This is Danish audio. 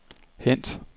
hent